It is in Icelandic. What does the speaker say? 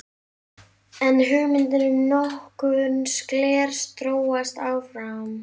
En hugmyndin um notkun glers þróast áfram.